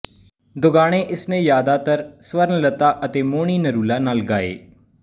ਦੋਗਾਣੇ ਇਸਨੇ ਜ਼ਿਆਦਾਤਰ ਸਵਰਨਲਤਾ ਅਤੇ ਮੋਹਣੀ ਨਰੂਲਾ ਨਾਲ਼ ਗਾਏ